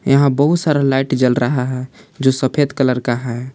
यहा बहुत सारा लाइट जल रहा है जो सफेद कलर का है।